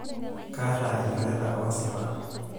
Kaata ilchoreta oosipa.